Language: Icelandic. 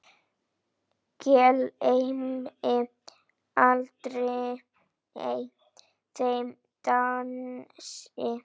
Gleymi aldrei þeim dansi.